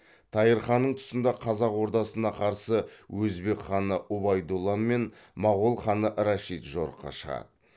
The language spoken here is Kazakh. тайыр ханның тұсында қазақ ордасына қарсы өзбек ханы ұбайдолла мен мағол ханы рәшид жорыққа шығады